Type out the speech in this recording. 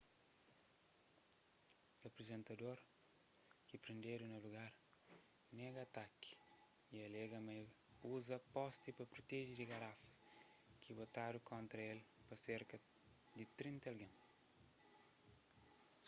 aprizentador ki prendedu na lugar nega ataki y alega ma é uza posti pa proteje di garafas ki botadu kontra el pa serka di trinta algen